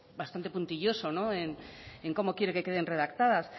bastante puntilloso en cómo quiere que queden redactadas